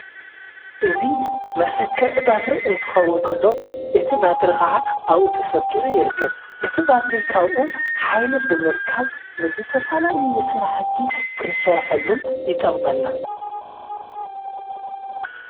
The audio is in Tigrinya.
እዙ መሠክዕ ባትሪ እንትኸውንቀሎ እቲ ባትሪ ኸዓ ኣብኡ ተሰኪዑ ይርከብ። እቲ ባትሪ ኻብኡ ኃይል ብምርካብ ምዘ ተፋላ ልዝሥራሕቲ ክንሠርሐሉ ይጠቕመና።